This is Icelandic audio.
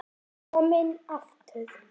Kominn aftur?